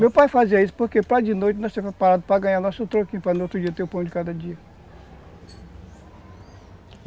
Meu pai fazia isso, porque para de noite ganhar nosso troquinho, para no outro dia ter o pão de cada dia.